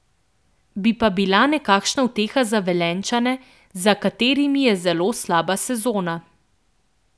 Bi pa bila nekakšna uteha za Velenjčane, za katerimi je zelo slaba sezona.